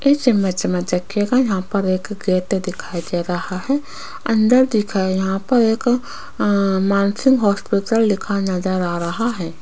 इस इमेज में देखिएगा यहां पर एक गेट दिखाई दे रहा है अंदर देखिए यहां पर एक अ मानसिंह हॉस्पिटल लिखा नजर आ रहा है।